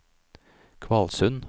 Kvalsund